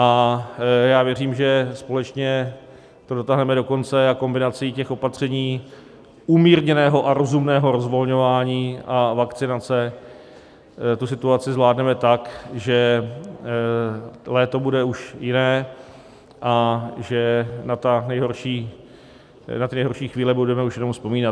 A já věřím, že společně to dotáhneme do konce a kombinací těch opatření, umírněného a rozumného rozvolňování a vakcinace tu situaci zvládneme tak, že léto bude už jiné a že na ty nejhorší chvíle budeme už jenom vzpomínat.